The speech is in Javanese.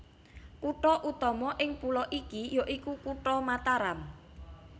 Kutha utama ing pulo iki ya iku Kutha Mataram